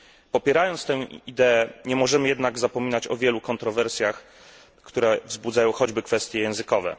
Popierając tę ideę nie możemy jednak zapominać o wielu kontrowersjach, które wzbudzają choćby kwestie językowe.